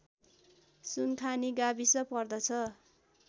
सुनखानी गाविस पर्दछ